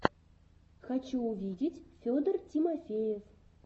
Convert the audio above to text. хочу увидеть федор тимофеев